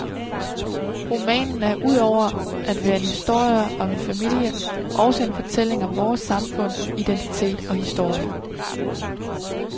Romanen er ud over at være en historie om en familie også en fortælling om vores samfund, identitet og historie.